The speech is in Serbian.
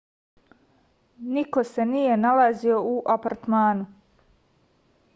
niko se nije nalazio u apartmanu